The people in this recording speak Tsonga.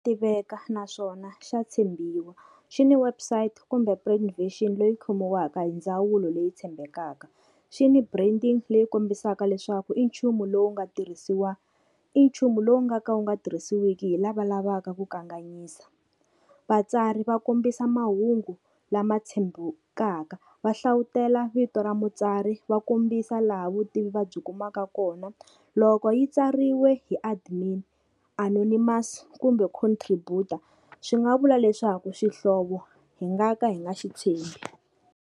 Tiveka naswona xa tshembiwa, xi ni website kumbe plan vision leyi khomiwaka hi ndzawulo leyi tshembekaka. Xi ni branding leyi kombisaka leswaku i nchumu lowu nga tirhisiwa i nchumu lowu nga ka wu nga tirhisiwiki hi lava lavaka ku kanganyisa. Vatsari va kombisa mahungu lama tshembekaka va hlavutela vito ra mutsari va kombisa laha vutivi va byi kumaka kona. Loko yi tsariwe hi admin anonymous kumbe contributor swi nga vula leswaku xihlovo hi nga ka hi nga xitshembi.